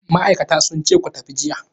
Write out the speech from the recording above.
Ma'aikatan sun ce ku tafi jiya.